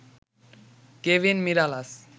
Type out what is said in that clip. Kevin Mirallas